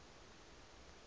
nekuphatsa